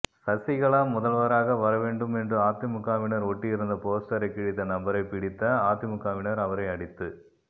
சசிகலா முதல்வராக வரவேண்டும் என்று அதிமுகவினர் ஓட்டியிருந்த போஸ்டரை கிழித்த நபரை பிடித்த அதிமுகவினர் அவரை அடித்து